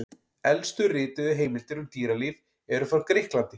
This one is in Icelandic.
Elstu rituðu heimildir um dýralíf eru frá Grikklandi.